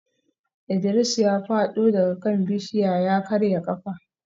Idris ya fado daga kan bishiyar ya karya kafa